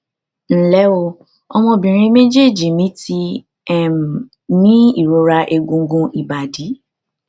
nle o ọmọbìnrin mejeeji mi ti um ní ìrora egungun ibadi